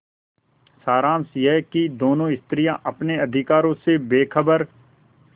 सारांश यह कि दोनों स्त्रियॉँ अपने अधिकारों से बेखबर